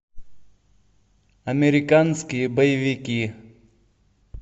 американские боевики